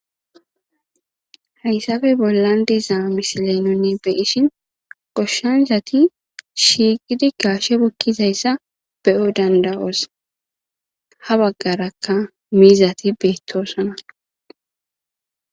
hayssappe bollan diza misiley nunni beyishin goshshansati shiiqidi gaashe bukkizayssa be'o dandawoos ha baggarakka miizati beettosona